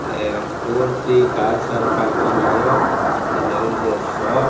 ah four three cars are parking here and there is a shop.